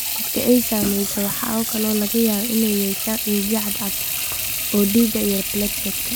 Dadka ay saamaysay waxa kale oo laga yaabaa inay yeeshaan unugyo cad cad oo dhiig ah iyo plateletka.